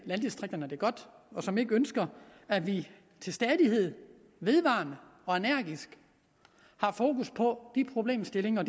landdistrikterne det godt og som ikke ønsker at vi til stadighed vedvarende og energisk har fokus på de problemstillinger og